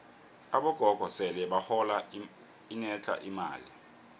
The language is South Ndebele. abogogo sele bahola enetlha imali